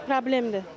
problemdir,